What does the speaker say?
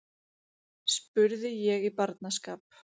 spurði ég í barnaskap.